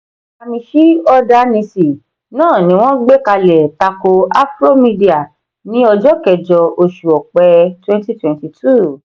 gamishee order nisi náà ni wọ́n gbekalẹ tako afromedia ní ọjọ kẹjọ oṣù ọpẹ twenty twenty two.